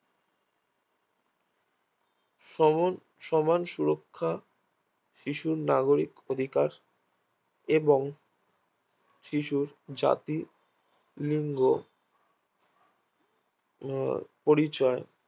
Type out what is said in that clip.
সমান সুরক্ষা শিশুর নাগরিক অধিকার এবং শিশুর জাতি লিঙ্গ পরিচয়